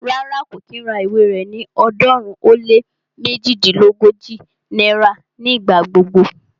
Rárá, kò kí ń ra ìwé rẹ ní ọ̀ọ́dúnrún ó lé méjilélógójì náírà ní ìgbà gbogbo